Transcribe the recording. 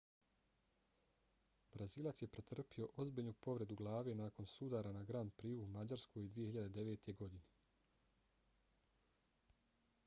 brazilac je pretrpio ozbiljnu povredu glave nakon sudara na grand prixu u mađarskoj 2009. godine